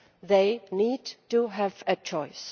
They need to have a choice.